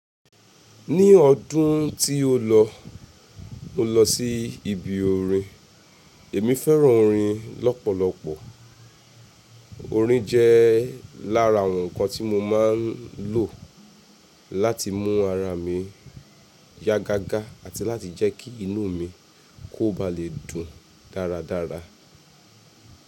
Ní ọdún tí o lọ, mo lọ sí ibi orin. Èmi fẹ́ràn orin lọ́pọ̀lọpọ̀. Orin jẹ́ lára nǹkan tí mo máa ń lò láti mú ara mi yá gágá àti láti jẹ́ kí inú mi kó ba lè dùn dáradára.